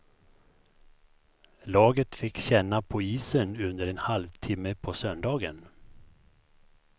Laget fick känna på isen under en halvtimme på söndagen.